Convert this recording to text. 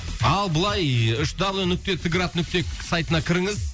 ал былай үш даблю нүкте т град нүкте сайтына кіріңіз